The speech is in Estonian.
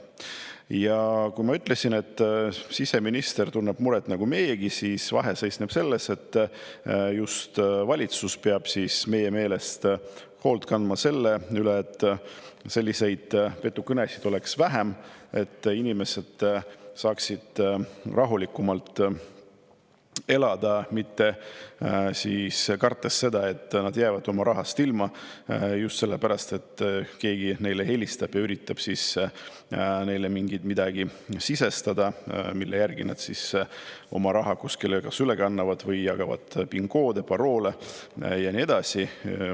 Ja kui ma ütlesin, et siseminister tunneb muret nagu meiegi, siis vahe seisneb selles, et just valitsus peab meie meelest hoolt kandma selle eest, et selliseid petukõnesid oleks vähem, et inimesed saaksid rahulikumalt elada, ei peaks kartma, et nad jäävad oma rahast ilma just sellepärast, et keegi neile helistab ja üritab neile midagi, mille järgi nad oma raha kuskile kas üle kannavad või jagavad PIN-koode, paroole ja nii edasi.